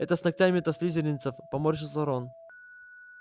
это с ногтями-то слизеринцев поморщился рон